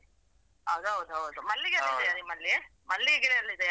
ಅದ್ ಹೌದು ಹೌದು. ಮಲ್ಲಿಗೆ ಎಲ್ಲ ಇದೆಯಾ ನಿಮ್ಮಲ್ಲಿ ಮಲ್ಲಿಗೆ ಗಿಡ ಎಲ್ಲ ಇದೆಯಾ?